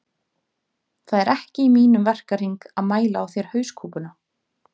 Það er ekki í mínum verkahring að mæla á þér hauskúpuna